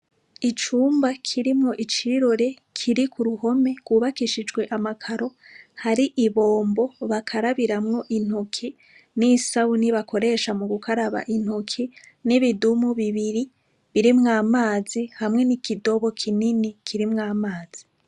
Icumba kirimwo icirore kiri ku ruhome. Rwubakishijwe amakaro. Hari ibombo bakarabiramwo intoki, n'isabuni bakoresha mu gukaraba intoki, n'ibidumu bibiri birimwo amazi, hamwe n'ikidobo kinini kirimwo amazi.